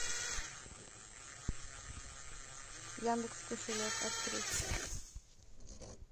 яндекс кошелек открыть